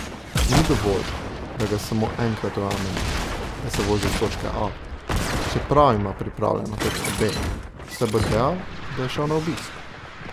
Ni dovolj, da ga samo enkrat ujamemo, da se vozi iz točke A, čeprav ima prijavljeno točko B, saj bo dejal, da je šel na obisk.